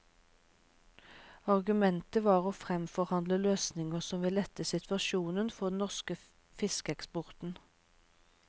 Argumentet var å framforhandle løsninger som vil lette situasjonen for den norske fiskeeksporten.